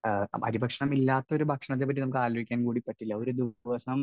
Speaker 1 അരി ഭക്ഷണം ഇല്ലാത്ത ഒരു ഭക്ഷണത്തെപ്പറ്റി നമുക്ക് ആലോചിക്കാൻ കൂടി പറ്റില്ല. ഒരു ദിവസം